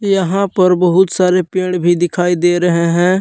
यहां पर बहुत सारे पेड़ भी दिखाई दे रहे हैं।